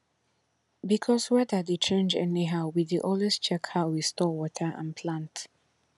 because weather dey change anyhow we dey always check how we store water and plant